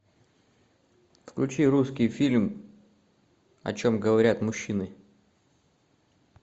включи русский фильм о чем говорят мужчины